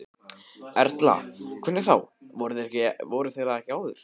Erla: Hvernig þá, voru þeir það ekki áður?